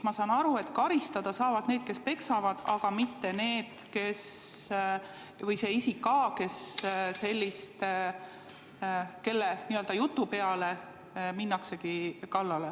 Ma saan aru, et sellisel juhul saavad karistada need, kes peksavad, aga mitte see isik A, kelle jutu peale kallale minnakse.